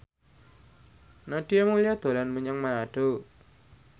Nadia Mulya dolan menyang Manado